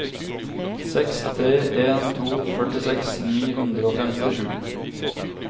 seks tre en to førtiseks ni hundre og femtisju